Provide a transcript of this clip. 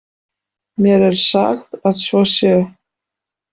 Mér er sagt að svo sé.